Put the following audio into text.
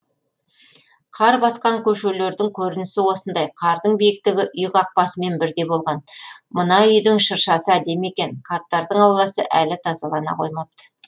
қар басқан көшелердің көрінісі осындай қардың биіктігі үй қақпасымен бірдей болған мына үйдің шыршасы әдемі екен қарттардың ауласы әлі тазалана қоймапты